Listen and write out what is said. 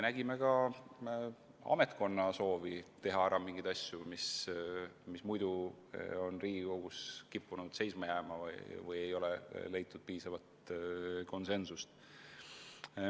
Nägime ka ametkonna soovi teha ära mingisuguseid asju, mis muidu on kippunud Riigikogus seisma jääma või mille korral ei ole leitud piisavat konsensust.